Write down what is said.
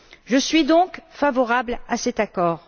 Je suis donc favorable à cet accord.